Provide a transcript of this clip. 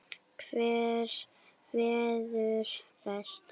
Hver verður best?